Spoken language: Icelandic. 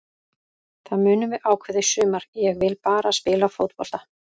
Það munum við ákveða í sumar, ég vil bara spila fótbolta.